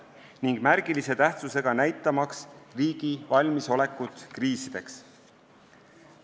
See on märgilise tähtsusega, näitamaks riigi valmisolekut kriiside lahendamiseks.